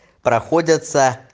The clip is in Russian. проходятся